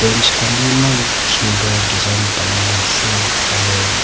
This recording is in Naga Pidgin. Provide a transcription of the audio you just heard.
bench khan bi maan sundur design banai na ase aro.